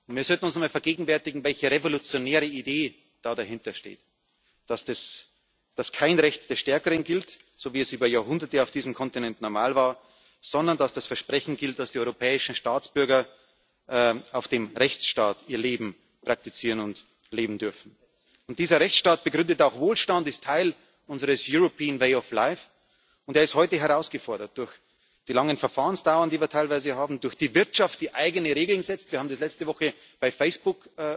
Wir sollten uns einmal vergegenwärtigen, welche revolutionäre Idee dahinter steht, dass nicht das Recht des Stärkeren gilt, so wie es über Jahrhunderte auf diesem Kontinent normal war, sondern dass das Versprechen gilt, dass die europäischen Staatsbürger auf der Grundlage des Rechtsstaats ihr Leben praktizieren und leben dürfen. Dieser Rechtsstaat begründet auch Wohlstand, ist Teil unseres European way of life und er ist heute herausgefordert durch die langen Verfahrensdauern, die wir teilweise haben, durch die Wirtschaft, die eigene Regeln setzt wir haben das letzte Woche bei Facebook